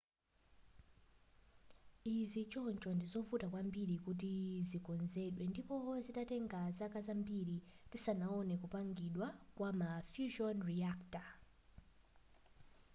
izi choncho ndizovuta kwambiri kuti zikonzedwe ndipo zizatenga zaka zambiri tisanaone kupangidwa kwa ma fusion reactor